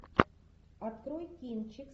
открой кинчик